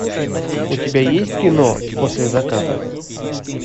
у тебя есть кино после заката